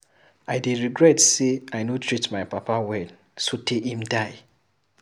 I dey regret say I no treat my papa well so tey im die.